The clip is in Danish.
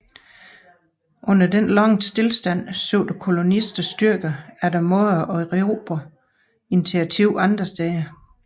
Under denne lange stilstand søgte kolonisternes styrker efter måder at erobre initiativet andre steder